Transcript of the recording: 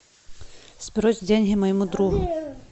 сбрось деньги моему другу